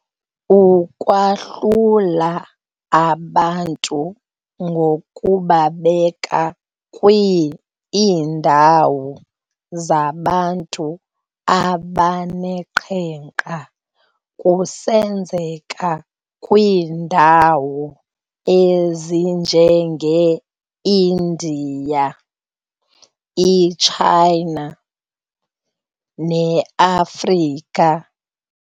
Ukwahlula abantu ngokubabeka kwii-iindawo zabantu abaneqhenqa kusenzeka kwiindawo ezinjenge-India, i-China, neAfrika.